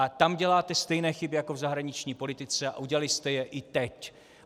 A tam děláte stejné chyby jako v zahraniční politice a udělali jste je i teď.